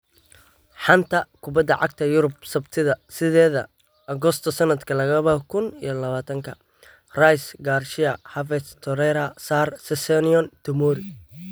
Xanta kubbada cagta Yurub Sabtida sideda Agosto sanadka laba kun iyo labatanka: Rice, Garcia, Havertz, Torreira, Sarr, Sessegnon, Tomori